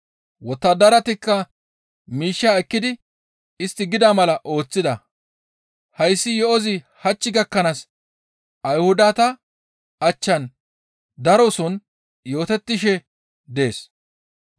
Wottadaratikka miishshaa ekkidi istti gida mala ooththida; hayssi yo7ozi hach gakkanaas Ayhudata achchan daroson yootettishe dees.